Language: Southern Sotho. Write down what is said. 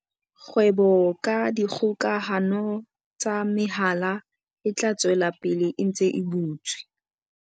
Kgwebo ka dikgokahano tsa mehala e tla tswela pele e ntse e butswe.